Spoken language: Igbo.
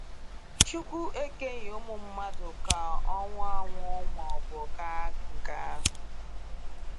Chukwu ekeghị ụmụ mmadụ ka ọnwụ anwụ maọbu kaa nká